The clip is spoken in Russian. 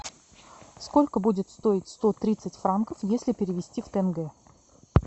сколько будет стоить сто тридцать франков если перевести в тенге